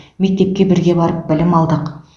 мектепте бірге барып білім алдық